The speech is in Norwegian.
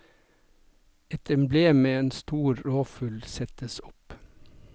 Et emblem med en stor rovfugl settes opp.